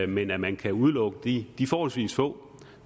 men at man kan udelukke de forholdsvis få